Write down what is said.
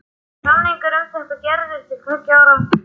Samningur um þetta var gerður til tveggja ára.